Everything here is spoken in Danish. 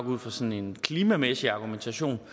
ud fra sådan en klimamæssig argumentation